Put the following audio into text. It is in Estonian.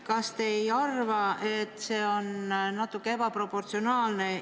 Kas te ei arva, et see on natuke ebaproportsionaalne?